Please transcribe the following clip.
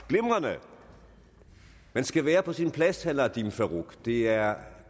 glimrende man skal være på sin plads herre nadeem farooq det er